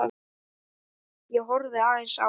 Ég horfði aðeins á